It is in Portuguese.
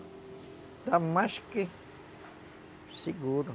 Está mais que seguro.